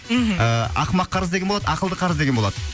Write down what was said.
мхм ақымақ қарыз деген болады ақылды қарыз деген болады